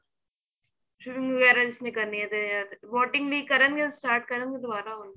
film ਵਗੈਰਾ ਜਿਸ ਨੇ ਕਰਨੀ ਏ ਤੇ boating ਵੀ ਕਰਨ ਗਏ start ਕਰਨ ਗੇ ਦੁਬਾਰਾ